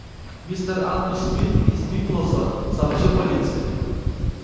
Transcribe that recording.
мистер ангус флит из пиблза сообщил полиции